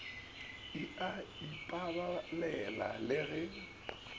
e a ipabalela le ge